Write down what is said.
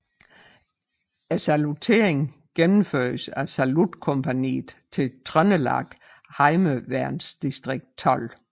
Salutteringen gennemføres af Salutkompagniet til Trøndelag Heimevernsdistrikt 12